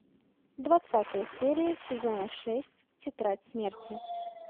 двадцатая серия сезона шесть тетрадь смерти